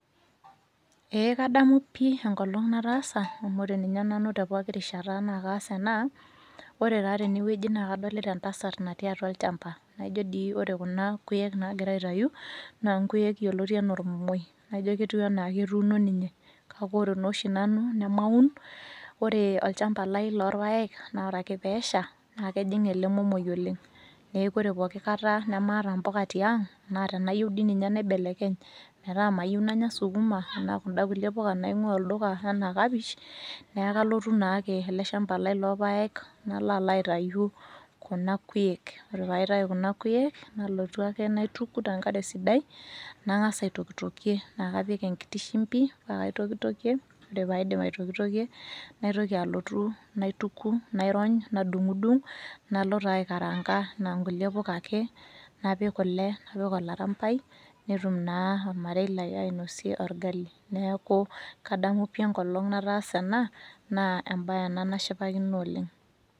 Ee kadamu pii enkolong' nataasa amu ore ninye nanu tee pooki rishata naa kaas ena. Ore taa tene wueji naa kadolita entasat natii atua olchamba naijo dii ore kuna kuek naagira aitayu naa nkuek yioloti enaa ormomoi naijo enaake etuuno ninye, kake ore naa oshi nanu nemaun. Ore olchamba lai lorpaek naa ore ake peesha naake ejing' ele momoi oleng' neeku ore pooki kata nemaata mpuka tiang', naa tenayeu dii nye naibelekeny metaa mayeu nanya sukuma, naa kunda kulie puka naing'ua olduka enaa kapish, nee kalotu naake ele shamba lai loo paek nalo alo aitayu kuna kuek. Ore paitayu kuna kuek, nalotu ake naituku te nkare sidai nang'asa aitokitokie naake apik enkiti shimbi paake aitokitokie. Ore paidip aitokitokie naitoki alotu naituku, nairony, nadung'dung' nalo taa aikaraanka naa nkulie puka ake, napik kule, napik olarambai netum naa olmarei lai ainosie orgali. Neeku kadamu pii ekolong' nataasa ena naa embaye ena nashipakino oleng'.